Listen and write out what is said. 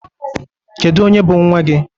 Kedu onye bụ nwa gị?